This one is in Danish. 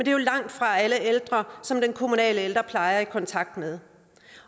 er jo langtfra alle ældre som den kommunale ældrepleje er i kontakt med